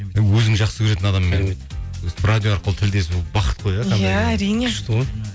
өзің жақсы көретін адаммен радио арқылы тілдесу бақыт қой иә иә әрине күшті ғой